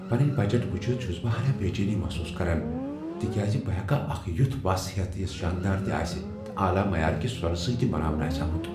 پنٕنۍ بجٹ وچھتھ چھس بہ ہناہ بےچینی محسوس کران تِکیازِ بہٕ ہیکا اکھ یتھ وَس ہیتھ یس شاندار تہ آسہ تہٕ اعلی معیارکِہ سونہٕ سۭتۍ بناونہٕ آسہ آمت ۔